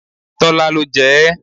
Tọ́lá ló jẹ ẹ́.